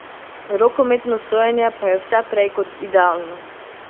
Rokometno sojenje pa je vse prej kot idealno.